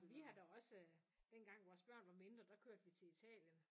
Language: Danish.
Ej men vi har da også dengang vores børn var mindre der kørte vi til Italien